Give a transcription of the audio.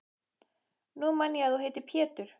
Nú man ég að þú heitir Pétur!